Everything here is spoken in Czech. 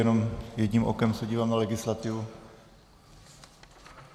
Jenom jedním okem se dívám na legislativu...